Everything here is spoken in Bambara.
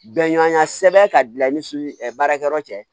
Bɛnɲɔgɔnya sɛbɛn ka bila i ni su ɛ baarakɛyɔrɔ cɛ